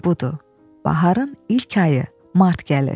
Budur, baharın ilk ayı mart gəlir.